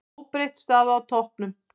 Óbreytt staða á toppnum